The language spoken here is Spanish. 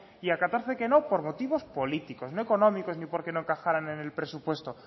y a catorce que no por motivos políticos no económicos ni porque no encajaran en el presupuesto